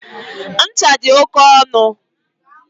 Ncha dị oke ọnụ.